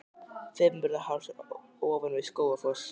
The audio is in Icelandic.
Fimmvörðuháls er ofan við Skógafoss.